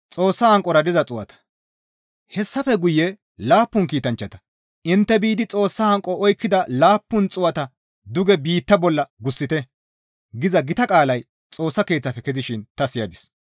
Hessafe guye laappun kiitanchchata, «Intte biidi Xoossa hanqo oykkida laappun xuu7ata duge biitta bolla gussite!» giza gita qaalay Xoossa Keeththafe kezishin ta siyadis.